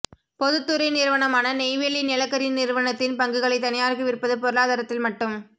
பொதுத்துறை நிறுவனமான நெய்வேலி நிலக்கரி நிறுவனத்தின் பங்குகளைத் தனியார்க்கு விற்பது பொருளாதாரத்தில் மட்டும்